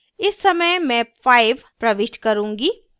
इस समय मैं 5 प्रविष्ट करुँगी